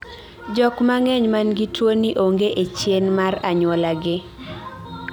jok mang'eny man gi tuo ni onge e chien mar anyuola gi